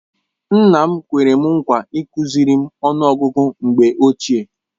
Nna m kwere m nkwa ịkụziri m ọnụ ọgụgụ mgbe ochie.